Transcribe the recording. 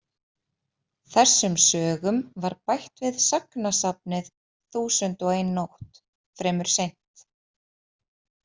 Þessum sögum var bætt við sagnasafnið „Þúsund og eina nótt“ fremur seint.